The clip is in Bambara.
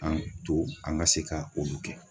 An to an ka se ka olu kɛ.